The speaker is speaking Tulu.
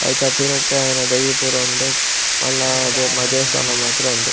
ಐತ ಪಿರಟ್ಟ್ ಆಯಿನ ದೈ ಪೂರ ಉಂಡು ಮಲ್ಲ ದೇವ್ ದೇವಸ್ಥಾನ ಮಾತ ಉಂಡು .